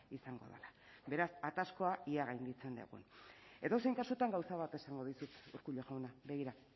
izango dela beraz ataskoa ea gainditzen dugun edozein kasutan gauza bat esango dizut urkullu jauna begira